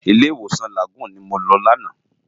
Ilé Iwósan Lágúùn ni mó lò làná